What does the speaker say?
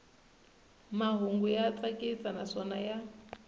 mahungu ya tsakisa naswona ya